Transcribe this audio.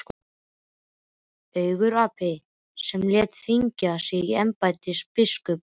Angurgapi sem lét þvinga sig í embætti biskups.